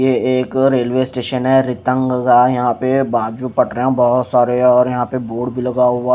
यह एक और रेलवे स्टेशन है रिटंग लग रहा है यहाँ पर बाजू पड़ रहे है बहोत सारे बोर्ड भी लगा हुआ --